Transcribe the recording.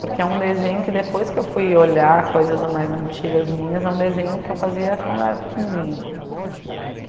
Porque é um desenho que, depois que fui olhar coisas mais antigas minhas, é um desenho que eu fazia quando era pequenininha.